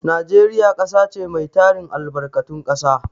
Najeriya ƙasa ce mai tarin albarkatun ƙasa.